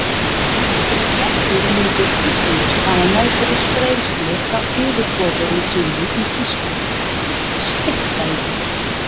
Þeir gestir myndu ugglaust hafa meðferðis greiðslu frá yfirboðurum sínum í Þýskalandi, steypta í blý.